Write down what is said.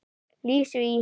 Lísu í